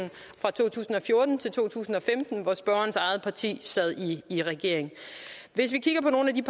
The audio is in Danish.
fra to tusind og fjorten til to tusind og femten hvor spørgerens eget parti sad i regering hvis vi kigger på nogle af de